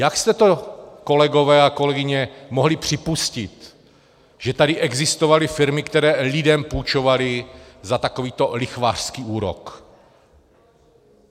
Jak jste to, kolegové a kolegyně, mohli připustit, že tady existovaly firmy, které lidem půjčovaly za takovýto lichvářský úrok?